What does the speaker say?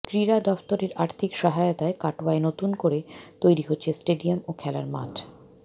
ক্রীড়া দফতরের আর্থিক সহায়তায় কাটোয়ায় নতুন করে তৈরি হচ্ছে স্টেডিয়াম ও খেলার মাঠ